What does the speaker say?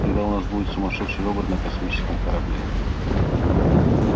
тогда у нас будет сумасшедший робот на космическом корабле